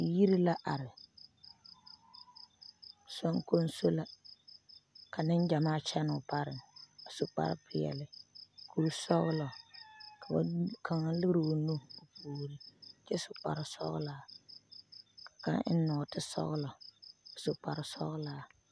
Yiri la are zoŋkonso ka Neŋgyamaa kyɛnɛ o pare a su kparre pelaa kuri sɔgelɔ ka kaŋa lere o nu o puori kyɛcsu kparre sɔgelaa a eŋ nɔɔte sɔgelɔ su kuri sɔgelaa